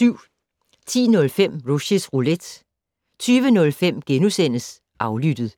10:05: Rushys Roulette 20:05: Aflyttet *